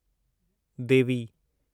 देवी